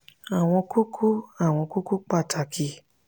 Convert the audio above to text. àwọn kókó àwọn kókó pàtàkì